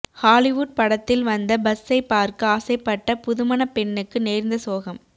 Hollywood படத்தில் வந்த பஸ்ஸை பார்க்க ஆசைப்பட்ட புதுமணப்பெண்ணுக்கு நேர்ந்த சோகம்